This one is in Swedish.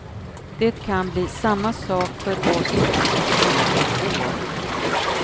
Det kan bli samma sak för oss om ett antal år.